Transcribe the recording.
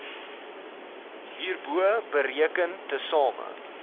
hierbo bereken tesame